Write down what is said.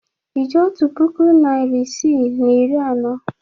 Ị ji otu puku naịra isii na iri anọ?